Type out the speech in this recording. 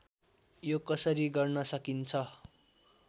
यो कसरी गर्न सकिन्छ